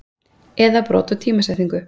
eða brot úr tímasetningu.